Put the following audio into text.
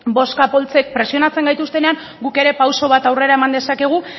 bozka poltsek presionatzen gaituztenean guk ere pauso bat aurrera eman dezakegu